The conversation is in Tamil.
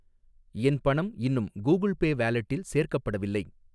என் பணம் இன்னும் கூகிள் பே வாலெட்டில் சேர்க்கப்படவில்லை.